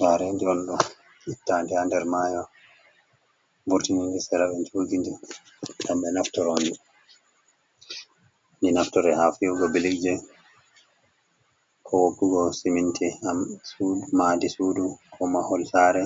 Jaredi ondo ittanɗi ha nder mayo. Vortini serae jugidi gambbe naftoroɗi. Ɗi naftira ha fihugo billigje. Ko wokkugo siminti, gam madi sudu. Ko mahol sare